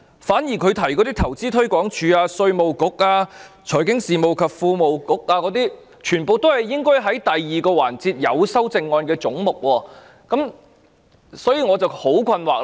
反之，他提及的投資推廣署、稅務局、財經事務及庫務局，全包括在第二個環節所涵蓋而有修正案的總目中，這令我感到困惑。